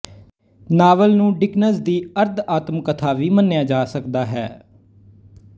novel ਨੂੰ Dickens ਦੀ ਅਰਧਆਤਮਕਥਾ ਵੀ ਮੰਨਿਆ ਜਾ ਸਕਦਾ ਹੈ